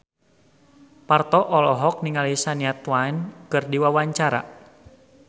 Parto olohok ningali Shania Twain keur diwawancara